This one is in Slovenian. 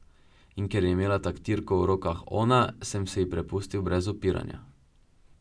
In ker je imela taktirko v rokah ona, sem se ji prepustil brez upiranja.